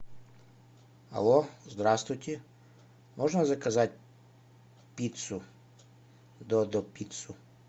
алло здравствуйте можно заказать пиццу додо пиццу